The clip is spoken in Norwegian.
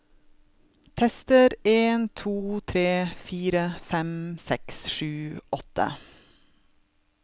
Tester en to tre fire fem seks sju åtte